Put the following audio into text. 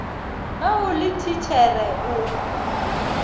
ge o le thitšhere o